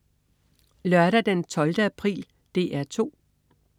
Lørdag den 12. april - DR 2: